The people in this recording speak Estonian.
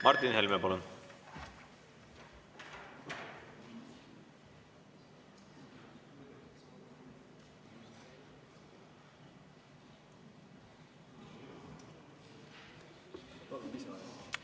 Martin Helme, palun!